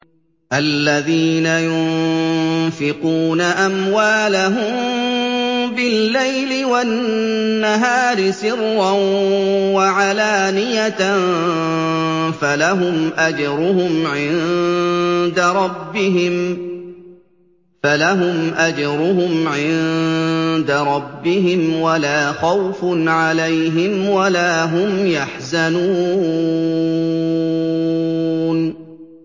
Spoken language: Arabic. الَّذِينَ يُنفِقُونَ أَمْوَالَهُم بِاللَّيْلِ وَالنَّهَارِ سِرًّا وَعَلَانِيَةً فَلَهُمْ أَجْرُهُمْ عِندَ رَبِّهِمْ وَلَا خَوْفٌ عَلَيْهِمْ وَلَا هُمْ يَحْزَنُونَ